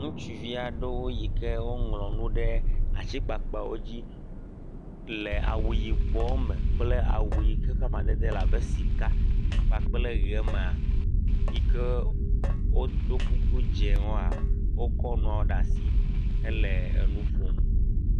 Ŋutsivi aɖewo yi ke woŋlɔ nu ɖe atikpakpawo dzi le awu yibɔwo me kple awu yi ke ƒe amadede le abe sika kpakple ʋe mea yi ke wodo kuku dziwoa wokɔ nua ɖe asi hele nu ƒom.